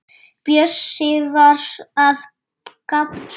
Bjössi var að gabba.